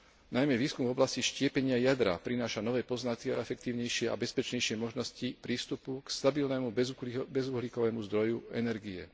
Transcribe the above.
Najmä výskum v oblasti štiepenia jadra prináša nové poznatky a efektívnejšie a bezpečnejšie možnosti prístupu k stabilnému bezuhlíkovému zdroju energie.